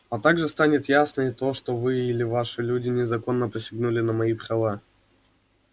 а также станет ясно и то что вы или ваши люди незаконно посягнули на мои права